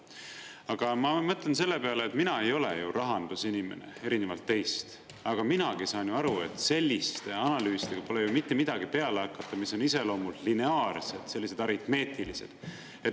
Aga ma mõtlen selle peale, et mina ei ole ju rahandusinimene, erinevalt teist, aga minagi ei saan ju aru, et selliste analüüsidega pole ju mitte midagi peale hakata, mis on iseloomult lineaarsed, sellised aritmeetilised.